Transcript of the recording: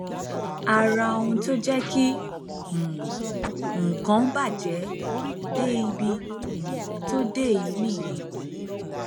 ara ohun tó jẹ kí um nǹkan bàjẹ dé ibi um tó dé yìí nìyẹn